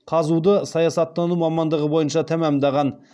қазұу ды саясаттану мамандығы бойынша тәмамдаған